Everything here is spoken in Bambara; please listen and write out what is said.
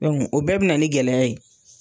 o bɛɛ be na ni gɛlɛya ye.